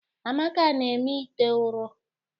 Amaka na-eme ite ụrọ.